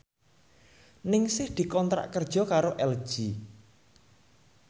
Ningsih dikontrak kerja karo LG